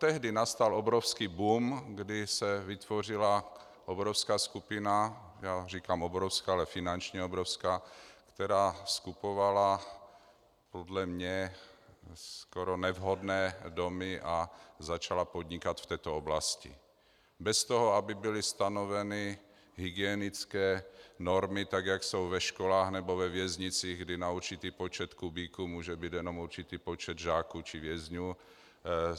Tehdy nastal obrovský boom, kdy se vytvořila obrovská skupina - já říkám obrovská, ale finančně obrovská -, která skupovala podle mě skoro nevhodné domy a začala podnikat v této oblasti bez toho, aby byly stanoveny hygienické normy, tak jak jsou ve školách nebo ve věznicích, kdy na určitý počet kubíků může být jenom určitý počet žáků či vězňů.